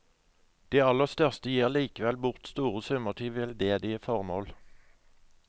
De aller største gir likevel bort store summer til veldedige formål.